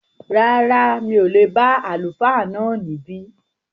Rárá, mi ò lè bá Àlùfáà náà níbí